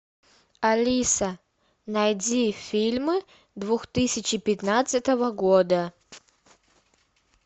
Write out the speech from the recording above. алиса найди фильмы две тысячи пятнадцатого года